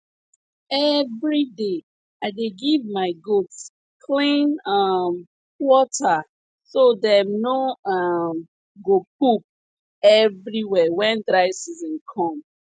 everyday i dey give my goats clean um water so dem no um go poop everywhere when dry season come